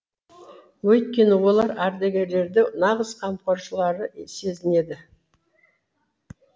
өйткені олар ардагерлерді нағыз қамқоршылары сезінеді